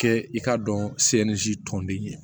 Kɛ i k'a dɔn tɔnden ye